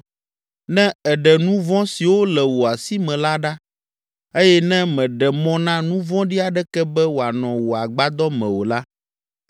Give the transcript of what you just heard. ne èɖe nu vɔ̃ siwo le wò asi me la ɖa eye ne mèɖe mɔ na nu vɔ̃ɖi aɖeke be wòanɔ wò agbadɔ me o la,